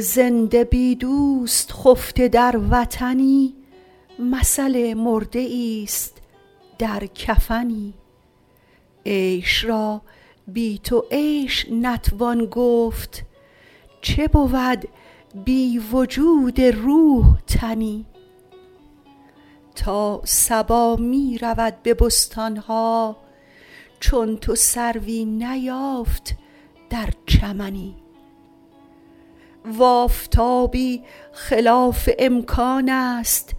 زنده بی دوست خفته در وطنی مثل مرده ایست در کفنی عیش را بی تو عیش نتوان گفت چه بود بی وجود روح تنی تا صبا می رود به بستان ها چون تو سروی نیافت در چمنی و آفتابی خلاف امکان است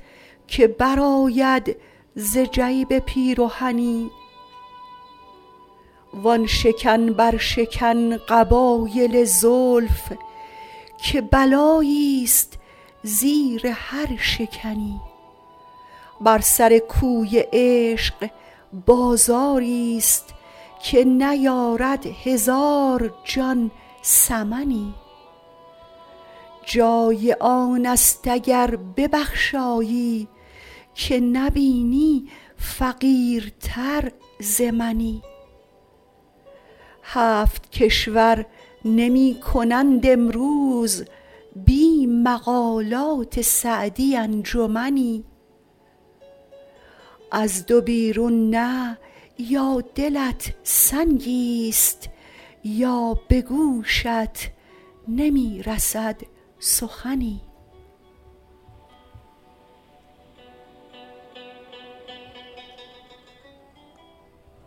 که برآید ز جیب پیرهنی وآن شکن برشکن قبایل زلف که بلاییست زیر هر شکنی بر سر کوی عشق بازاریست که نیارد هزار جان ثمنی جای آن است اگر ببخشایی که نبینی فقیرتر ز منی هفت کشور نمی کنند امروز بی مقالات سعدی انجمنی از دو بیرون نه یا دلت سنگیست یا به گوشت نمی رسد سخنی